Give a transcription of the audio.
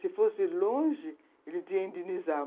Se fosse longe, ele tinha que indenizar.